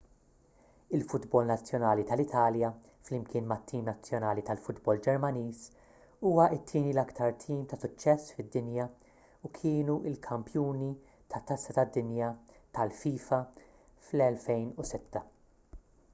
il-futbol nazzjonali tal-italja flimkien mat-tim nazzjonali tal-futbol ġermaniż huwa t-tieni l-iktar tim ta' suċċess fid-dinja u kienu l-kampjuni tat-tazza tad-dinja tal-fifa fl-2006